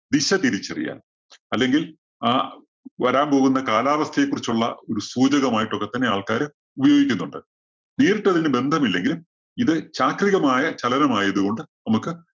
ദിശ തിരിച്ചറിയാന്‍ അല്ലെങ്കില്‍ ആ വരാന്‍ പോകുന്ന കാലാവസ്ഥയെ കുറിച്ചുള്ള ഒരു സൂചകമായിട്ടൊക്കെ തന്നെ ആള്‍ക്കാര് ഉപയോഗിക്കുന്നുണ്ട്. നേരിട്ട് അതിന് ബന്ധമില്ലെങ്കിലും ഇത് ചാക്രികമായ ചലനമായത് കൊണ്ട് നമ്മക്ക്